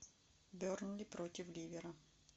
бернли против ливера